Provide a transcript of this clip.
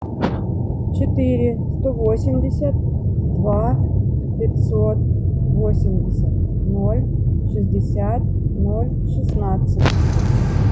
четыре сто восемьдесят два пятьсот восемьдесят ноль шестьдесят ноль шестнадцать